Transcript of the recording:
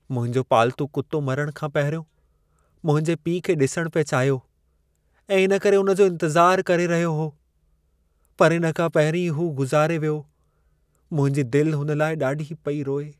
मुंहिंजो पालतू कुत्तो मरण खां पहिरियों मुंहिंजे पीउ खे ॾिसणु पिए चाहियो ऐं इन करे उन जो इंतज़ार करे रहियो हो। पर इन खां पहिरीं हू गुज़ारे वियो। मुंहिंजी दिलि हुन लाइ ॾाढी पेई रोए।